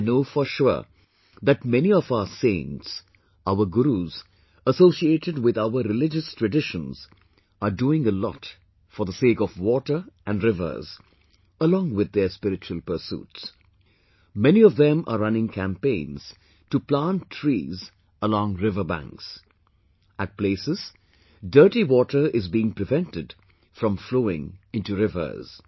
I know for sure that many of our saints, our gurus associated with our religious traditions are doing a lot for the sake of water and rivers, along with their spiritual pursuits...many of them are running campaigns to plant trees along riverbanks...at places, dirty water is being prevented from flowing into rivers